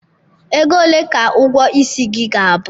Ego ole ka ụgwọ isi gị ga-abụ?